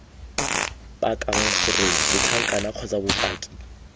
pakang gore setlankana kgotsa bopaki